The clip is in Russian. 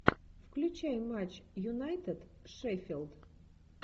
включай матч юнайтед шеффилд